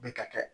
Bɛ ka kɛ